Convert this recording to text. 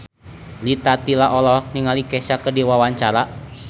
Rita Tila olohok ningali Kesha keur diwawancara